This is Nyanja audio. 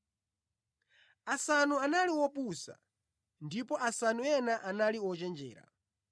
Asanu anali opusa ndipo asanu ena anali ochenjera.